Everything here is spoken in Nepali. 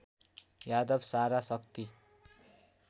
यादव सारा शक्ति